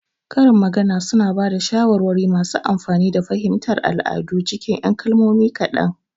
Karin magana suna ba da shawarwari masu amfani da fahimtar al'adu cikin 'yan kalmomi kaɗan.